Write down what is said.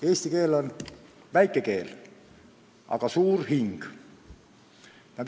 Eesti keel on väike keel, aga tal on suur hing.